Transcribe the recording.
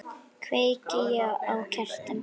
Kveiki á kertum.